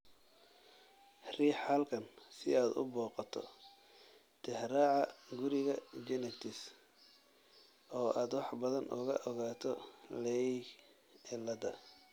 Riix halkan si aad u booqato Tixraaca Guriga Genetics oo aad wax badan uga ogaato Leigh cilada.